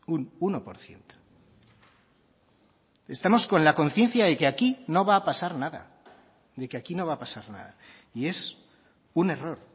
un uno por ciento estamos con la conciencia de que aquí no va a pasar nada de que aquí no va a pasar nada y es un error